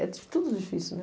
É di tudo difícil, né?